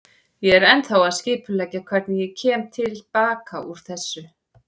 Ég er ennþá að skipuleggja hvernig ég kem til baka út úr þessu.